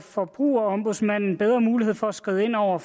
forbrugerombudsmanden bedre muligheder for at skride ind over